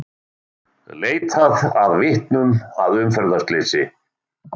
Leitað að vitnum að umferðarslysi